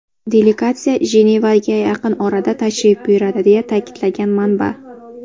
Delegatsiya Jenevaga yaqin orada tashrif buyuradi”, deya ta’kidlagan manba.